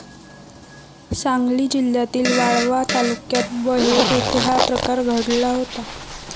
सांगली जिल्ह्यातील वाळवा तालुक्यात बहे येथे हा प्रकार घडला होता.